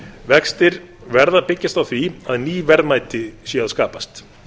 vextir verða að byggjast á því að ný verðmæti séu að skapast